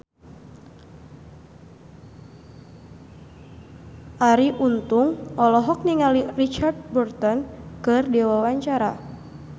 Arie Untung olohok ningali Richard Burton keur diwawancara